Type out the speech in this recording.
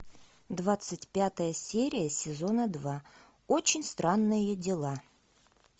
двадцать пятая серия сезона два очень странные дела